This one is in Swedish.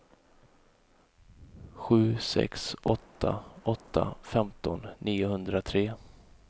sju sex åtta åtta femton niohundratre